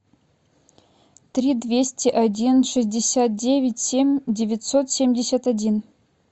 три двести один шестьдесят девять семь девятьсот семьдесят один